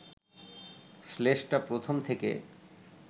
শ্লেষটা প্রথম থেকে